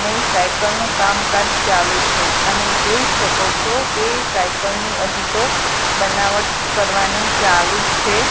અને સાયકલ નું કામકાજ ચાલુ છે તમે જોઈ શકો છો કે સાયકલ ની હજી તો બનાવટ કરવાની ચાલુ છે.